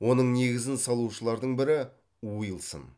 оның негізін салушылардың бірі уилсон